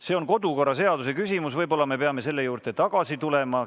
See on kodukorraseaduse küsimus, võib-olla me peame selle juurde tagasi tulema.